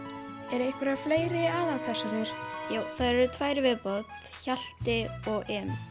er einhverjar fleiri aðalpersónur já þær eru tvær í viðbót Hjalti og